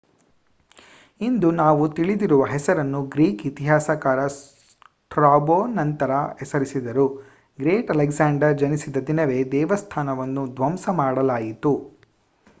ಇಂದು ನಾವು ತಿಳಿದಿರುವ ಹೆಸರನ್ನು ಗ್ರೀಕ್ ಇತಿಹಾಸಕಾರ ಸ್ಟ್ರಾಬೋ ನಂತರ ಹೆಸರಿಸಿದರು ಗ್ರೇಟ್ ಅಲೆಕ್ಸಾಂಡರ್ ಜನಿಸಿದ ದಿನವೇ ದೇವಸ್ಥಾನವನ್ನು ಧ್ವಂಸ ಮಾಡಲಾಯಿತು